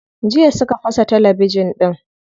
Jiya suka fasa talabijin din.